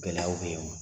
Gɛlɛyaw bɛ yen wa